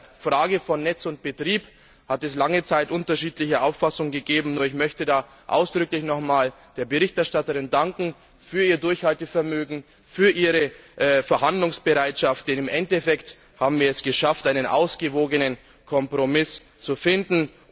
Bei der Frage von Netz und Betrieb hat es lange Zeit unterschiedliche Auffassungen gegeben, und ich möchte da ausdrücklich noch einmal der Berichterstatterin für ihr Durchhaltevermögen und für ihre Verhandlungsbereitschaft danken, denn im Endeffekt haben wir es geschafft, einen ausgewogenen Kompromiss zu finden.